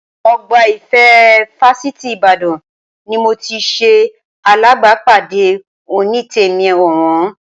Ọgbà Ìfẹ́ fásitì Ìbàdàn ni mo ti ṣe alábàápàdé Onítèmi ọ̀wọ́n